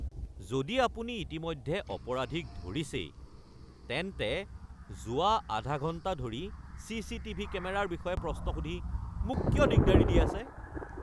যদি আপুনি ইতিমধ্যে অপৰাধীক ধৰিছেই তেন্তে যোৱা আধা ঘণ্টা ধৰি চি.চি.টি.ভি. কেমেৰাৰ বিষয়ে প্ৰশ্ন সুধি মোক কিয় দিগদাৰি দি আছে? (নাগৰিক)